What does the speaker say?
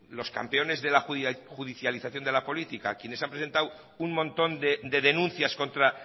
los campeones de la judicialización de la política quienes han presentado un montón de denuncias contra